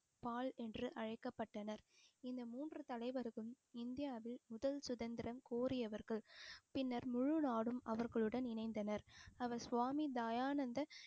பால் என்று அழைக்கப்பட்டனர் இந்த மூன்று தலைவர்களும் இந்தியாவில் முதல் சுதந்திரம் கோரியவர்கள் பின்னர் முழு நாடும் அவர்களுடன் இணைந்தனர் அவர் சுவாமி தயானந்த